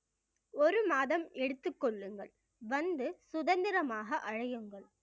ஒரு மாதம் எடுத்துக் கொள்ளுங்கள் வந்து சுதந்திரமாக அழையுங்கள்